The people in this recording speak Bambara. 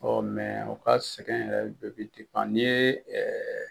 Ɔ o ka sɛgɛn yɛrɛ bɛ n'i ye